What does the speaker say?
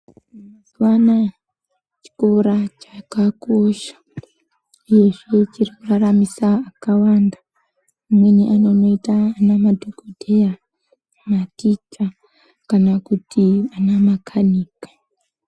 Mazuva anaya chikora chakakosha uyezve chirikuraramisa akawanda. Amweni anonoite anamadhogodheya, maticha kana kuti anamakanika.